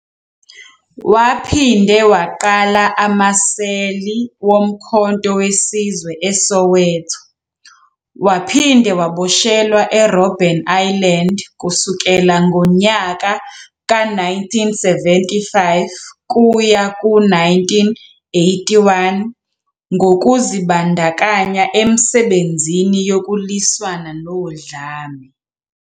Waphinde waqala amaseli woMkhonto We Sizwe eSoweto, waphinde waboshelwa e-Robben Island kusukela ngonyaka ka-1975 kuya ku-1981 ngokuzi bandakanya emisebenzini yokulwisana nodlame.